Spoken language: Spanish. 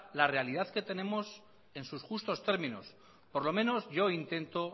la realidad que tenemos en su justos términos por lo menos yo intento